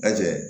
Lajɛ